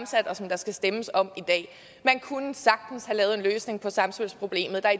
og som der skal stemmes om i dag man kunne sagtens have lavet en løsning på samspilsproblemet der